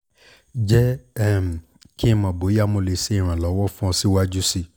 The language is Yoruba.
jẹ um ki n mọ boya mo le ṣe iranlọwọ fun ọ siwaju sii